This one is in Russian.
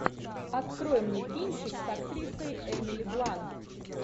открой мне кинчик с актрисой эмили блант